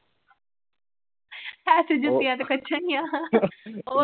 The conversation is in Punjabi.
ਹੈ ਤੂੰ ਜੁਤੀਆਂ ।